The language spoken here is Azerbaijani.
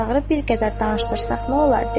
Çağırıb bir qədər danışdırsan nə olar?